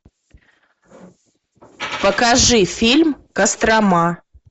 покажи фильм кострома